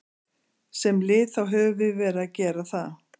Sem lið þá höfum við verið að gera það.